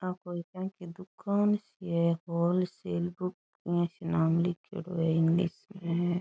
आ कोई क्यांकि दुकान सी है हॉलसेल को इया सी नाम लिखेड़ो है इंग नीच।